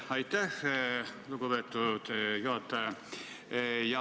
Aitäh, lugupeetud eesistuja!